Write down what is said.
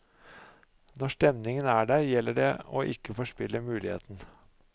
Når stemningen er der, gjelder det å ikke forspille muligheten.